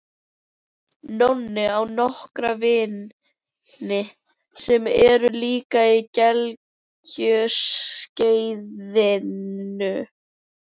Nonni á nokkra vini sem eru líka á gelgjuskeiðinu.